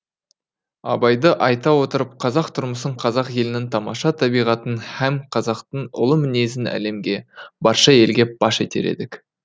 абайды айта отырып қазақ тұрмысын қазақ елінің тамаша табиғатын һәм қазақтың ұлы мінезін әлемге барша елге паш етер едік